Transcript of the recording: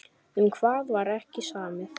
Um hvað var ekki samið?